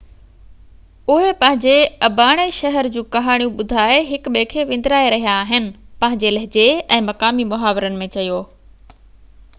اهي پنهني اباڻي شهر جون ڪهاڻيون ٻڌائي هڪ ٻئي کي وندرائي رهيا آهن پنهنجي لهجي ۽ مقامي محاورن ۾ چيو